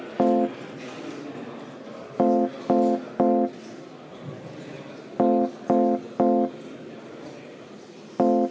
Palun võtta seisukoht ja hääletada!